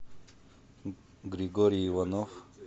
григорий иванов